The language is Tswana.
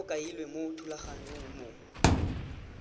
go kailwe mo thulaganyong mo